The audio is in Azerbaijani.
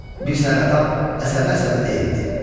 Bir səhər atam əsəbə-əsəbi deyindi: